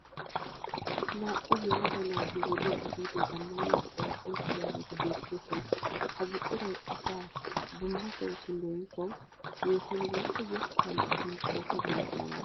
Naa'u yelaga naati wodee ehiido zammaana buqura oyqqidaageeti beettoosona. Ha buquray asaa dumma sohotun leemisuwawu yeehuwan woyikko yettan gidin pootuwa denttanawu maaddees.